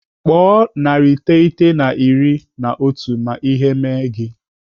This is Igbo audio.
Kpọọ narị iteghete na iri na otu ma ihe mee gị.